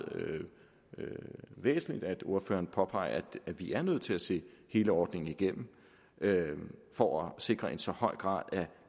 væsentligt at ordføreren påpeger at vi er nødt til at se hele ordningen igennem for at sikre en så høj grad af